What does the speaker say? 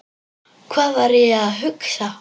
Hvað var ég að hugsa?